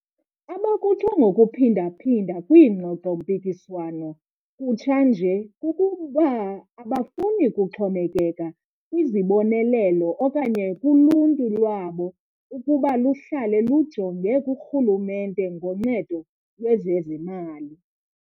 Abakutsho ngokuphinda phinda kwingxoxo-mpikiswano kutsha nje kukuba abafuni kuxhomekeka kwizibonelelo okanye kuluntu lwabo ukuba luhlale lujonge kurhulumente ngoncedo lwezezimali.